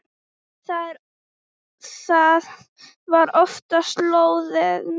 Og það var oftast lóðið.